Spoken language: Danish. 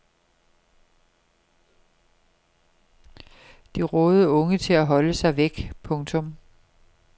De rådede unge til at holde sig væk. punktum